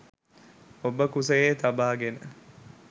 ඔබ කුසයේ තබාගෙන